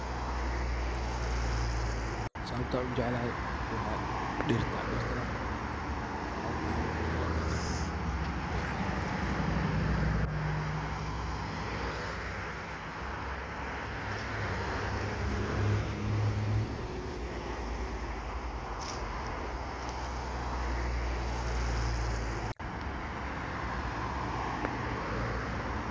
Sawabta an u jecelahay waa dirta dirtana waxaa u bahan yahay bila adanka ito xayawankawa.